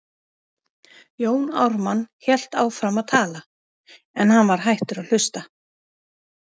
Jón Ármann hélt áfram að tala, en hann var hættur að hlusta.